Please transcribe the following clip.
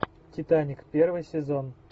титаник первый сезон